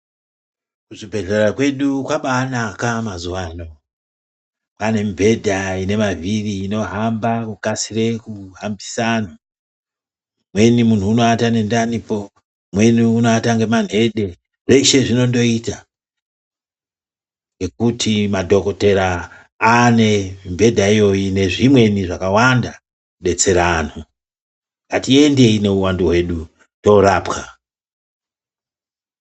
Kuzvibhehlera kwedu kwabaanaka mazuwa ano pane mibhedhu ine mavhiri inohamba kukasira kuhambise anhu, umweni munhu unoata nendanipo umweni unoata ngemanhede ,zveshe zvinondoita ngekuti madhokodheya aane mibhedhu iyoyi nezvimweni zvakawanda kudetsera anhu ,ngatiendei nehuwandu hwedu toorapwa.